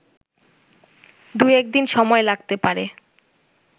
দুয়েকদিন সময় লাগতে পারে